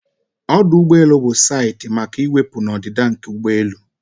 Ọdụ ụgbọ elu bụ saịtị maka iwepụ na ọdịda nke ụgbọelu